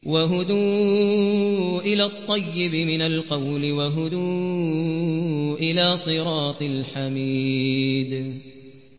وَهُدُوا إِلَى الطَّيِّبِ مِنَ الْقَوْلِ وَهُدُوا إِلَىٰ صِرَاطِ الْحَمِيدِ